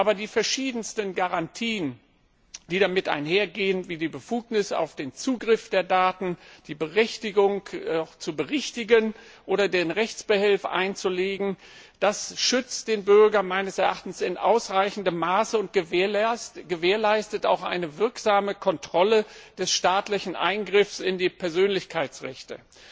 Aber die verschiedensten Garantien, die damit einhergehen, wie die Befugnisse auf den Zugriff der Daten, die Berechtigung, Berichtigungen vorzunehmen oder Rechtsbehelfe einzulegen, das schützt den Bürger meines Erachtens in ausreichendem Maße und gewährleistet auch eine wirksame Kontrolle staatlicher Eingriffe in die Persönlichkeitsrechte.